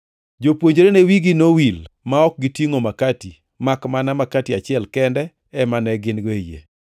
Jopuonjrene wigi nowil ma ok gitingʼo makati, makmana makati achiel kende ema ne gin-go e yie.